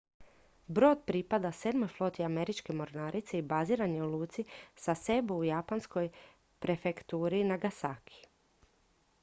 brod pripada sedmoj floti američke mornarice i baziran je u luci sasebo u japanskoj prefekturi nagasaki